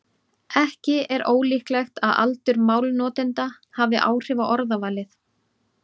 Ekki er ólíklegt að aldur málnotenda hafi áhrif á orðavalið.